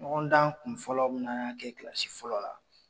Ɲɔgɔndan kunfɔlɔ bɛna kɛ kilasi fɔlɔ la